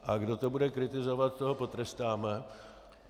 A kdo to bude kritizovat, toho potrestáme.